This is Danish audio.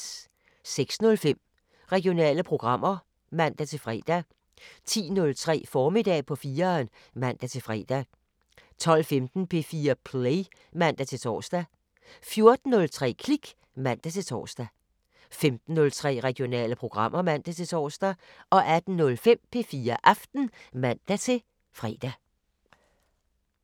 06:05: Regionale programmer (man-fre) 10:03: Formiddag på 4'eren (man-fre) 12:15: P4 Play (man-tor) 14:03: Klik (man-tor) 15:03: Regionale programmer (man-tor) 18:05: P4 Aften (man-fre)